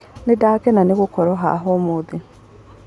Nĩndakena nĩgũkorwo haha ũmũthĩ.